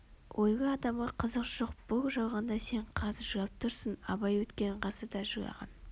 ойлы адамға қызық жоқ бұл жалғанда сен қазір жылап тұрсың абай өткен ғасырда жылаған